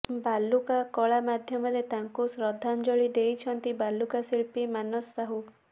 ବାଲୁକା କଳା ମାଧ୍ୟମରେ ତାଙ୍କୁ ଶ୍ରଦ୍ଧାଞ୍ଜଳି ଦେଇଛନ୍ତି ବାଲୁକା ଶିଳ୍ପୀ ମାନସ ସାହୁ